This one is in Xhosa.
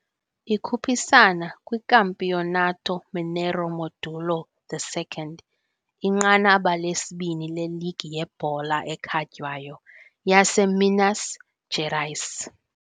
Ikhuphisana kwiCampeonato Mineiro Módulo II, inqanaba lesibini leligi yebhola ekhatywayo yaseMinas Gerais.